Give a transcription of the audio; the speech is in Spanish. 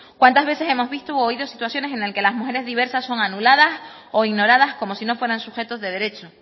cuántas veces hemos visto u oído situaciones en el que las mujeres diversas son anuladas o ignoradas como si no fueran sujetos de derecho